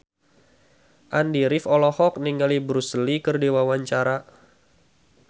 Andy rif olohok ningali Bruce Lee keur diwawancara